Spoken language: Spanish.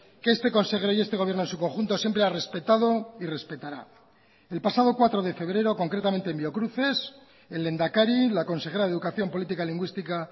que este consejero y este gobierno en su conjunto siempre ha respetado y respetará el pasado cuatro de febrero concretamente en biocruces el lehendakari la consejera de educación política lingüística